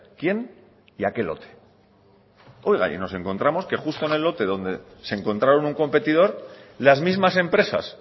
quién y a qué lote oiga y nos encontramos que justo en el lote donde se encontraron un competidor las mismas empresas